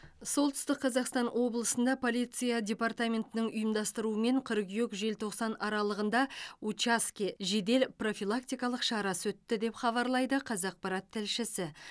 солтүстік қазақстан облысында полиция департаментінің ұйымдастыруымен қыркүйек желтоқсан аралығында учаске жедел профилактикалық шарасы өтті деп хабарлайды қазақпарат тілшісі